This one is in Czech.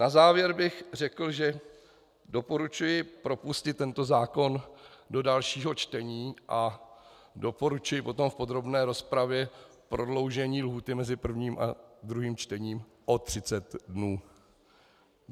Na závěr bych řekl, že doporučuji propustit tento zákon do dalšího čtení a doporučuji potom v podrobné rozpravě prodloužení lhůty mezi prvním a druhým čtením o 30 dnů.